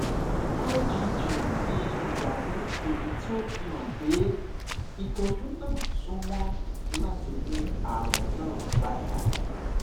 igg ni idaamu eyiti o fihan pe itọju naa sunmọ lati mu arun naa pada